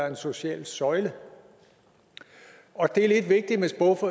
en social søjle og det er lidt vigtigt